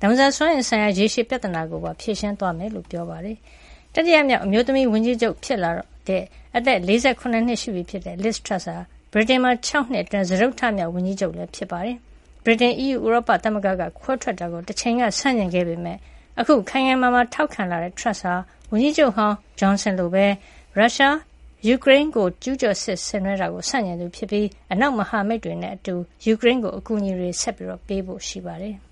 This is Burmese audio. လောင်စာစွမ်းအင်ဆိုင်ရာ ရေရှည်ပြဿနာကိုပါ ဖြေရှင်းသွားမှာ ဖြစ်ကြောင်း ကတိပေးခဲ့ပါတယ်။ တတိယမြောက် အမျိုးသမီးဝန်ကြီးချုပ်ဖြစ်လာတော့မယ့် အသက် ၄၇ နှစ်အရွယ် Liz Truss ဟာ ဗြိတိန်မှာ ၆ နှစ်အတွင်း စတုတ္ထမြောက်ဝန်ကြီးချုပ်လည်း ဖြစ်ပါတယ်။ ဗြိတိန် အီးယူဥရောပသမဂ္ဂက ခွဲထွက်တာကို တချိန်ကဆန့်ကျင်ခဲ့ပေမယ့် အခုခိုင်ခိုင်မာမာ ထောက်ခံလာတဲ့ Turss ဟာ ဝန်ကြီးချုပ်ဟောင်း Johnson လိုပဲ ရုရှားရဲ့ ၆ လ ကြာလာပြီဖြစ်တဲ့ ယူကရိန်းကျူးကျော်စစ်ကို ဆန့်ကျင်သူဖြစ်ပြီး အနောက်မဟာမိတ်တွေနဲ့အတူ ယူကရိန်းကို အကူအညီတွေ ဆက်ပေးဖို့ ရှိပါတယ်။